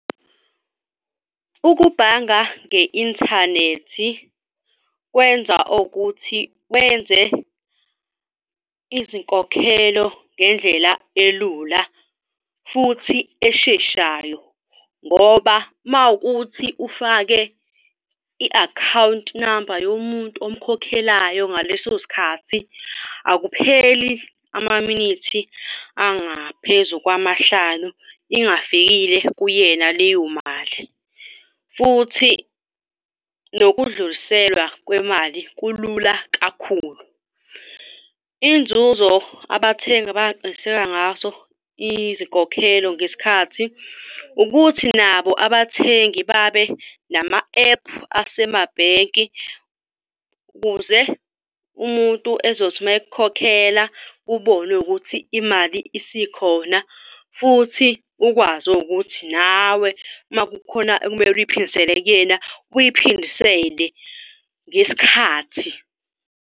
Ukubhanga nge-inthanethi kwenza ukuthi wenze izinkokhelo ngendlela elula futhi esheshayo, ngoba uma ukuthi ufake i-account number yomuntu omkhokhelayo ngaleso sikhathi, akupheli amaminithi angaphezu kwamahlanu ingafikile kuyena leyo mali. Futhi nokudluliselwa kwemali kulula kakhulu. Inzuzo abathengi abangaqiniseka ngaso izinkokhelo ngesikhathi ukuthi nabo abathengi babe nama-ephu asemabhenki ukuze umuntu ezothi uma ekukhokhela ubone ukuthi imali isikhona, futhi ukwazi ukuthi nawe uma kukhona okumele uyiphindisele kuyena, uyiphindisele ngesikhathi.